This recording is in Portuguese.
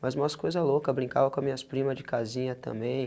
Mas umas coisa louca, brincava com as minhas primas de casinha também.